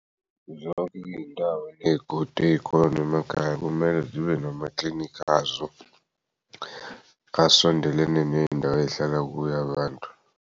Zonke iy'ndawo ney'godi ey'khona emakhaya kumele zibe namaklinikhi azo asondelene ney'ndawo ey'hlala kuyo abantu.